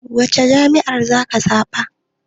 Wacce jam'iyyar zaka zaɓa?